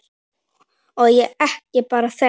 Og ekki bara þeir.